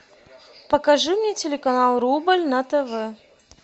покажи мне телеканал рубль на тв